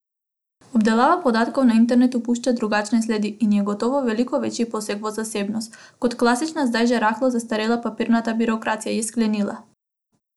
Obdelava podatkov na internetu pušča drugačne sledi in je gotovo veliko večji poseg v zasebnost, kot klasična zdaj že rahlo zastarela papirnata birokracija, je sklenila.